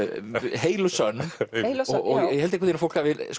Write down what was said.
heil og sönn og ég held að fólk hafi